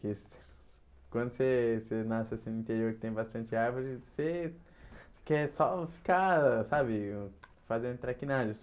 Que você quando você você nasce assim no interior e tem bastante árvores, você quer só ficar, sabe, fazendo traquinagem.